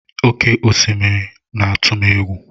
Oké osimiri na-atụ m egwu.